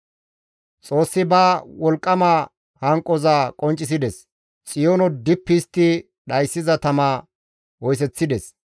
Xoossi ba wolqqama hanqoza qonccisides; Xiyoono dippi histti dhayssiza tama oyseththides.